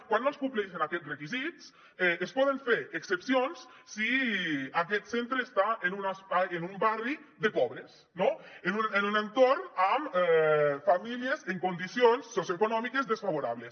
quan no es compleixin aquests requisits es poden fer excepcions si aquest centre està en un barri de pobres en un entorn amb famílies en condicions socioeconòmiques desfavorables